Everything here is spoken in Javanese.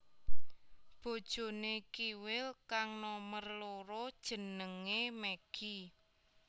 Bojoné Kiwil kang nomer loro jenengé Meggi